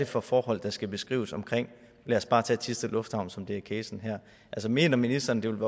for forhold der skal beskrives og lad os bare tage thisted lufthavn som er casen her mener ministeren det vil